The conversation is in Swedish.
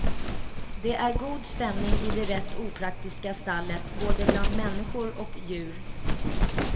Det är god stämning i det rätt opraktiska stallet både bland människor och djur.